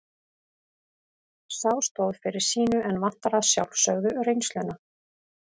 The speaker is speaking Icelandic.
Sá stóð fyrir sínu en vantar að sjálfsögðu reynsluna.